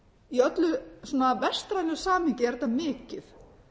í öllu svona vestrænu samhengi er þetta mikið